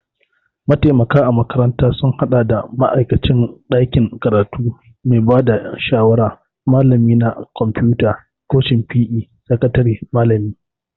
Mataimaka a makaranta sun haɗa da ma'aikacin ɗakin karatu, mai ba da shawara, Malami na kwamfuta, kocin PE., sakatare, malami